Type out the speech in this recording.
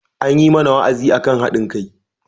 An yi mana wa'azi akan haɗin kai.